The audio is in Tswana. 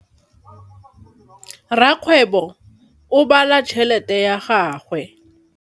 Rakgwêbô o bala tšheletê ya gagwe.